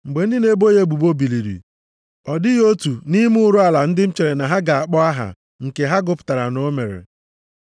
Mgbe ndị na-ebo ya ebubo biliri, ọ dịghị otu nʼime ụrụ ala ndị m chere ha ga-akpọ aha nke ha gụpụtara na o mere.